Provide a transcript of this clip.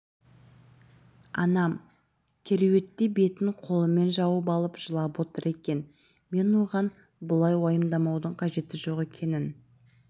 анам кереуетте бетін қолымен жауып алып жылап отыр екен мен оған бұлай уайымдаудың қажеті жоқ екенін